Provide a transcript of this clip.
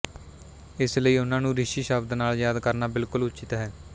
ਇਸ ਲਈ ਉਹਨਾਂ ਨੂੰ ਰਿਸ਼ੀ ਸ਼ਬਦ ਨਾਲ ਯਾਦ ਕਰਨਾ ਬਿਲਕੁਲ ਉਚਿੱਤ ਹੈ